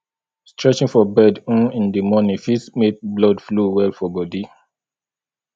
stretching for bed um in di moning fit make blood flow well for bodi